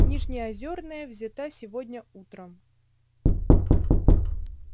нижнеозёрная взята сегодня утром